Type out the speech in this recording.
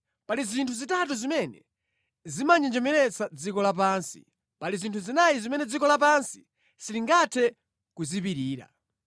Pali zinthu zitatu zimene zimanjenjemeretsa dziko lapansi, pali zinthu zinayi zimene dziko lapansi silingathe kuzipirira: